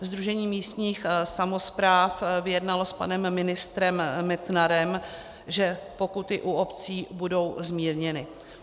Sdružení místních samospráv vyjednalo s panem ministrem Metnarem, že pokuty u obcí budou zmírněny.